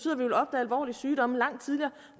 alvorlige sygdomme langt tidligere